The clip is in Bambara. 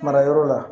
Marayɔrɔ la